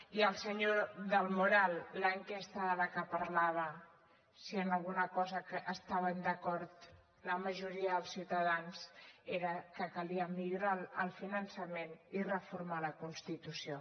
i al senyor del moral en l’enquesta de la que parlava si en alguna cosa estaven d’acord la majoria dels ciutadans era que calia millorar el finançament i reformar la constitució